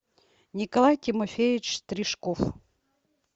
николай тимофеевич тришков